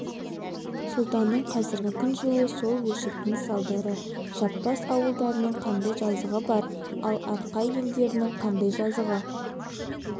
сұлтанның қазіргі кіжінуі сол өштіктің салдары жаппас ауылдарының қандай жазығы бар ал арқа елдерінің қандай жазығы